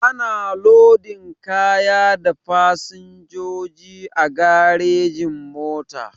Ana lodin kaya da fasinjoji a garejin-mota.